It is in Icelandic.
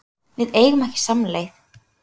Við eigum ekki samleið